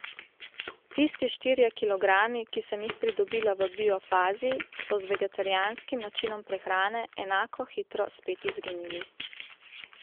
Tisti štirje kilogrami, ki sem jih pridobila v bio fazi, so z vegetarijanskim načinom prehrane enako hitro spet izginili.